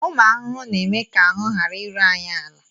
Ụmụ arụrụ na-eme ka ahụ ghara iru anyị ala